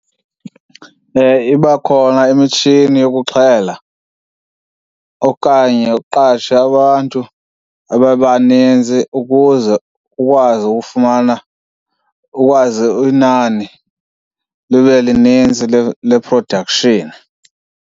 Iba khona imitshini yokuxhela okanye uqashe abantu babe baninzi ukuze ukwazi ufumana, ukwazi inani libe linintsi le-production.